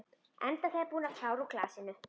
Enda þegar búin að klára úr glasinu.